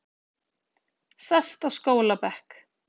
Sest á skólabekk